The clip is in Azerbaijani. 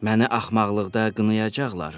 Məni axmaqlıqda qınayacaqlar.